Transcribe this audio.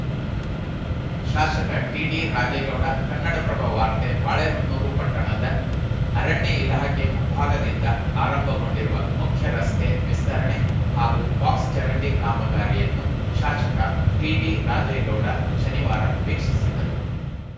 ಶಾಸಕ ಟಿಡಿ ರಾಜೇಗೌಡ ಕನ್ನಡಪ್ರಭ ವಾರ್ತೆ ಬಾಳೆಹೊನ್ನೂರು ಪಟ್ಟಣದ ಅರಣ್ಯ ಇಲಾಖೆ ಮುಂಭಾಗದಿಂದ ಆರಂಭಗೊಂಡಿರುವ ಮುಖ್ಯರಸ್ತೆ ವಿಸ್ತರಣೆ ಹಾಗೂ ಬಾಕ್ಸ್‌ ಚರಂಡಿ ಕಾಮಗಾರಿಯನ್ನು ಶಾಸಕ ಟಿಡಿ ರಾಜೇಗೌಡ ಶನಿವಾರ ವೀಕ್ಷಿಸಿದರು